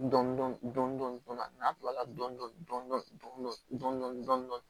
Dɔndɔni fana n'a kilala dɔɔnin dɔɔnin